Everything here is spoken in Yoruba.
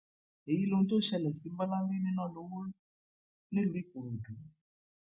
èyí lohun tó ṣẹlẹ sí bọláńlé nínalọwọ nílùú ìkòròdú